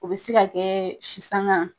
O be se ka kɛɛ si saŋa